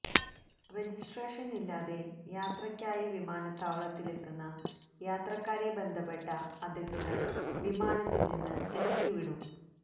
registration ഇല്ലാതെ യാത്രക്കായി വിമാനത്താവളത്തിലെത്തുന്ന യാത്രക്കാരെ ബന്ധപ്പെട്ട അധികൃതര് വിമാനത്തില് നിന്ന് ഇറക്കി വിടും